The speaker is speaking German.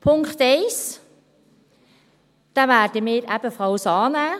Punkt 1 werden wir ebenfalls annehmen.